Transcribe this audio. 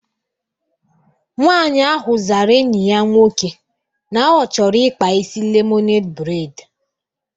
Nwaanyị ahụ zara enyi ya nwoke na ọ chọrọ ịkpa isi lemoned breid